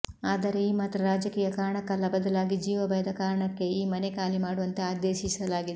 ಆದರೆ ಈ ಮಾತ್ರ ರಾಜಕೀಯ ಕಾರಣಕ್ಕಲ್ಲ ಬದಲಾಗಿ ಜೀವಭಯದ ಕಾರಣಕ್ಕೆ ಈ ಮನೆ ಖಾಲಿ ಮಾಡುವಂತೆ ಆದೇಶಿಸಲಾಗಿದೆ